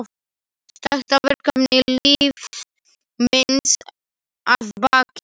Stærsta verkefni lífs míns að baki.